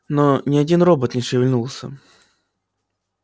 но ни один робот не шевельнулся